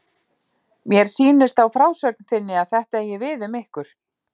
Mér sýnist á frásögn þinni að þetta eigi við um ykkur.